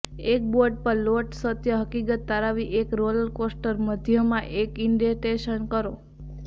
એક બોર્ડ પર લોટ સત્ય હકીકત તારવવી એક રોલર કોસ્ટર મધ્યમાં એક ઇન્ડેન્ટેશન કરો